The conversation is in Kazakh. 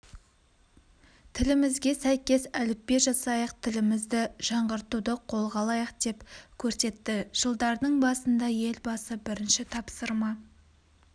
тілімізге сәйкес әліпби жасайық тілімізді жаңғыртуды қолға алайық деп көрсетті жылдардың басында елбасы бірінші тапсырма